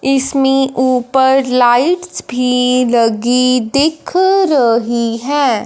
इसमें ऊपर लाइट्स भी लगी दिख रही है।